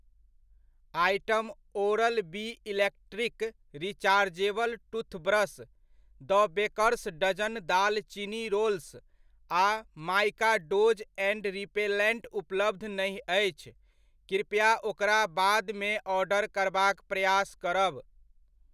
Item Oral B electric rechargeable toothbrush, the Baker's Dozen दालचीनी rolls आ Mikados ant repellent उपलब्ध नहि अछि, कृपया ओकरा बादमे ऑर्डर करबाक प्रयास करब।